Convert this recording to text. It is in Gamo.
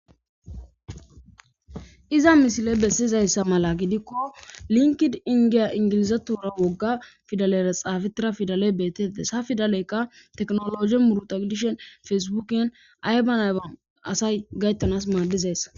Iza misile bessizayssa mala gidikko linkid indiya ingilizatura wogga fidalera xaafetira fidale beettetes ha fidaleykka teknoloi murutadishen fesbukin ayban ayban asay gayttanas maaddizayssa.